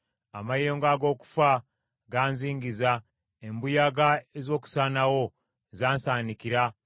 “Amayengo ag’okufa ganzingiza; embuyaga ez’okusaanawo zansaanikira.